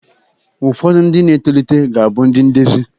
Ụfodu ndi na etolita ga-abu ndi ndezi